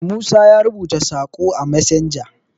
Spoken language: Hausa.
musa ya rubuta Sako a messenger